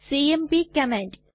CMP command